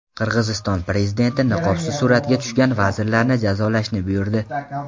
Qirg‘iziston prezidenti niqobsiz suratga tushgan vazirlarni jazolashni buyurdi.